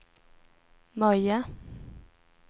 Möja